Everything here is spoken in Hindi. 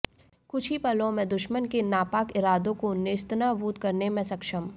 कुछ ही पलों में दुश्मन के नापाक इरादों को नेस्तनाबूद करने में सक्षम